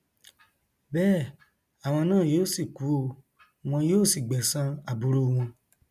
bẹẹ àwọn náà yóò sì kú ọ wọn yóò sì gbẹsan aburú wọn